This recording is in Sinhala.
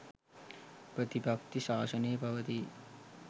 ප්‍රතිපත්ති ශාසනය පවතියි.